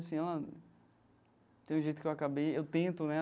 Assim, ela... tem um jeito que eu acabei... eu tento, né?